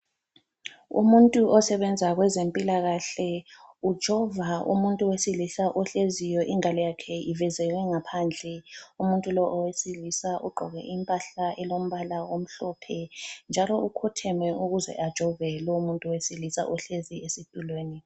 Umuntu osebenza kwezempilakahle ujova umuntu wesilisa ohleziyo ingalo yakhe ivezeke ngaphandle. Umuntu lo owesilisa ugqoke impahla elombala omhlophe njalo ukhotheme ukuze ajove lomuntu wesilisa ohlezi esitulweni.